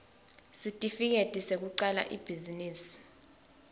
sesitifiketi sekucala ibhizinisi